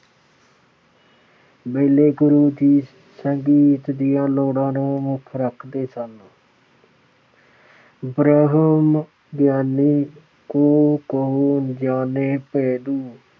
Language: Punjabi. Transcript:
ਵੇਲੇ ਗੁਰੂ ਜੀ ਸੰਗੀਤ ਦੀਆਂ ਲੋੜਾਂ ਨੂੰ ਮੁੱਖ ਰੱਖਦੇ ਸਨ। ਬ੍ਰਹਮ ਗਿਆਨੀ ਕਾ ਕਉਨ ਜਾਨੈ ਭੇਦੁ ।।